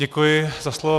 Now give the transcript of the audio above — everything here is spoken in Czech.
Děkuji za slovo.